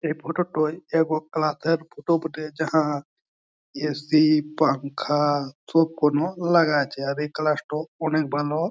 এই ফটো টয় এব ক্লাস -এর ফটো বটে। যাঁহা এ.সি. পাঙ্খা সব গুনো লাগা আছে। আর এই ক্লাস টাও অনেক ভালো।